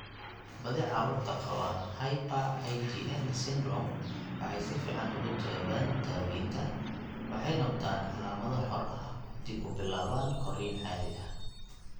Badi carruurta qaba hyper IgM syndrome waxay si fiican uga jawaabaan daawaynta, waxay noqdaan calaamado xor ah oo dib u bilaabaan korriin caadi ah.